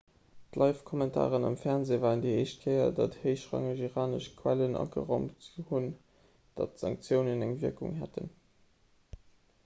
d'livekommentaren am fernsee waren déi éischt kéier datt héichrangeg iranesch quellen ageraumt hunn datt d'sanktiounen eng wierkung hätten